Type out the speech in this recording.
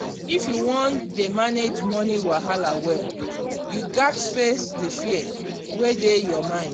if you wan dey manage money wahala well you gats face di fear wey dey your mind.